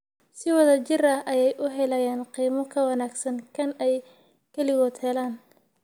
Si wada jir ah ayay u helayaan qiimo ka wanaagsan kan ay kaligood helaan.